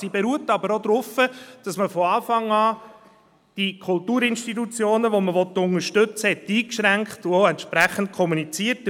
Sie beruht aber auch darauf, dass man die Kulturinstitutionen, die man unterstützen will, von Anfang an einschränkte und dies auch entsprechend kommunizierte;